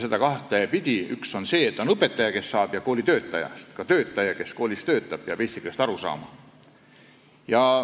Seda saavad õppida õpetajad ja teised kooli töötajad, sest kõik need, kes koolis töötavad, peavad eesti keelest aru saama.